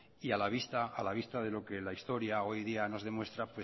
y a la vista de lo que la historia hoy día nos demuestra